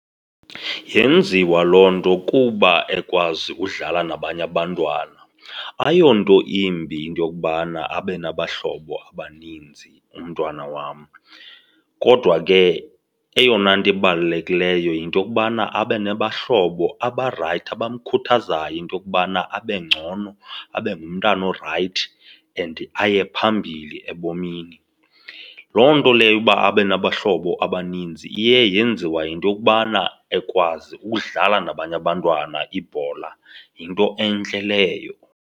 Yenziwa loo nto kuba ekwazi udlala nabanye abantwana. Ayonto imbi into yokubana abe nabahlobo abaninzi umntwana wam kodwa ke eyona nto ibalulekileyo yinto yokubana abe nabahlobo abarayithi abamkhuthazayo into yokubana abe ngcono, abe ngumntana orayithi and aye phambili ebomini. Loo nto leyo uba abe nabahlobo abaninzi iye yenziwa yinto yokubana ekwazi ukudlala nabanye abantwana ibhola, yinto entle leyo.